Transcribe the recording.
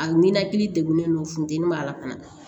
A ninakili degunnen don funteni b'a la fana